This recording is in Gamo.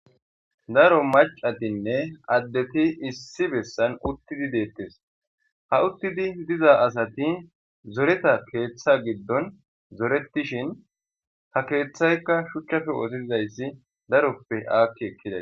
Daro macatinne addeti issi bessan uttidi deettes ha uttidi diza asati zoreta keeththa giddon zoretishin ha keeththaykka shuchchape ootizayssi daroppe aakki ekkides.